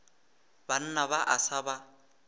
banna ba a sa ba